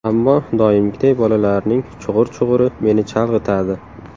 Ammo doimgiday bolalarning chug‘ur-chug‘uri meni chalg‘itadi.